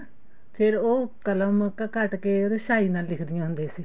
ਫ਼ੇਰ ਉਹ ਕਲਮ ਘਟ ਕੇ ਸ਼ੇਹਾਈ ਨਾਲ ਲਿਖਦੇ ਹੁੰਦੇ ਸੀ